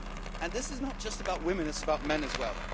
And this is not just about women, it is about men as well.